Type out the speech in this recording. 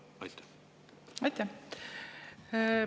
Aitäh!